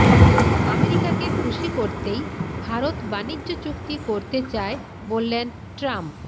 আমেরিকাকে খুশি করতেই ভারত বাণিজ্য চুক্তি করতে চায় বললেন ট্রাম্প